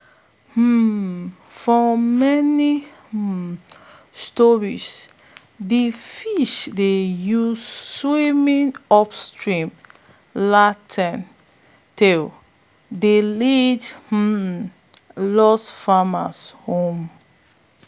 um for many um stories de fish dey use swimming upstream lantern tale dey lead um lost farmers home.